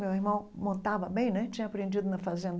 Meu irmão montava bem né, tinha aprendido na fazenda.